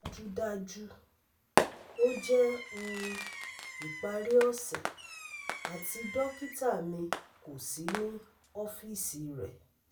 Dajudaju, o jẹ um ipari ose ati dokita mi ko si ni ọfiisi rẹ